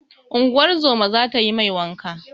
Unguwar zoma za ta yi mai wanka.